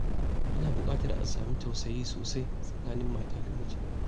Ana buƙatar a sami tausayi sosai tsakanin mata da miji.